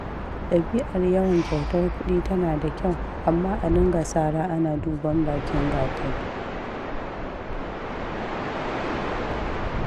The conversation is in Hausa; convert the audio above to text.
Ɗabi'ar yawan kyautar kuɗi tana da kyau, amma a dinga sara ana duban bakin gatari.